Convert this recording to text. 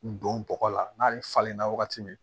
Don bɔgɔ la n'a falenna wagati min